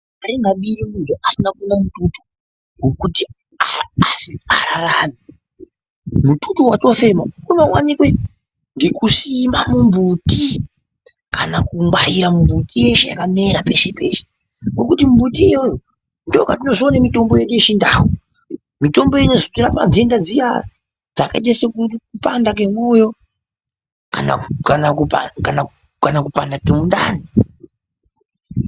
Asina kuwana mututu wekuti ararame. Mututu watofema unowanika ngekusima mumbuti kana kungwarira mumbuti yeshe yakamera peshe peshe. Ngekuti mumbuti iyoyo ndopatinozoona mitombo yedu yechindau. Mitombo inozotirapa nhenda dziyaa dzakaita sekupanda kemwoyo kana kupanda kemundani.